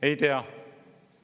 Ei tea!